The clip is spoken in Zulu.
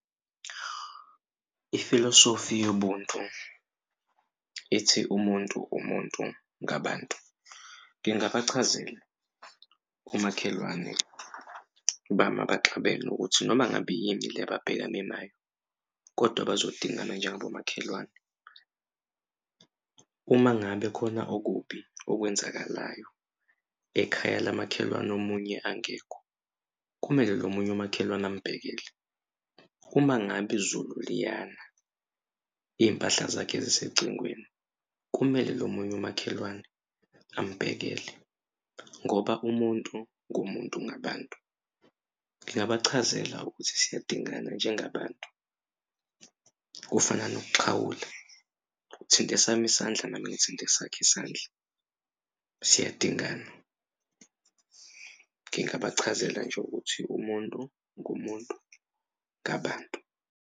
Ifilosofi yobuntu ithi umuntu umuntu ngabantu ngingabachazela omakhelwane bami abaxabene ukuthi noma ngabe yini le ababhekane nayo kodwa bazodingana njengabomakhelwane. Uma ngabe khona okubi okwenzakalayo ekhaya lamakhelwane omunye angekho kumele lo omunye umakhelwane ambhekele. Uma ngabe izulu liyana iy'mpahla zakhe zisecingweni, kumele lo munye umakhelwane ambhekele, ngoba umuntu ngumuntu ngabantu. Ngingabachazela ukuthi siyadingana njengabantu. Kufana nokuxhawula uthinta esami isandla, nami ngithinta esakho isandla siyadingana. Ngingabachazela nje ukuthi umuntu ngumuntu ngabantu.